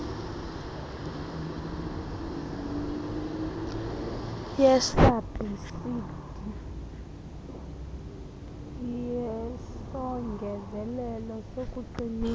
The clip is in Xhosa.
yesabhsidi yesongezelelo sokuqinisa